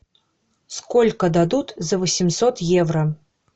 сколько дадут за восемьсот евро